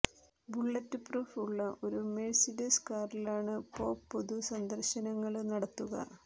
bullet proof ഉള്ള ഒരു Mercedes കാറിലാണ് പോപ് പൊതു സന്ദര്ശനങ്ങള് നടത്തുക